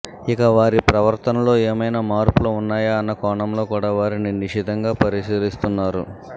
ఇక వారి ప్రవర్తనలో ఏమైనా మార్పులు ఉన్నాయా అన్న కోణంలో కూడా వారిని నిశితంగా పరిశీలిస్తున్నారు